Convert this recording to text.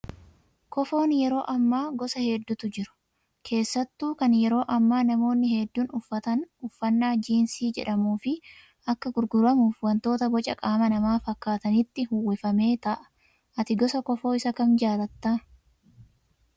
Kofoon yeroo ammaa gosa hedduutu jru. Keessattuu kan yeroo ammaa namoonni hedduun uffatana uffannaa jiinsii jedhamuu fi akka gurguramuuf wantoota boca qaama namaa fakkaatanitti uwwifamee taa'a. Ati gosa kofoo isa kam jaallattaa?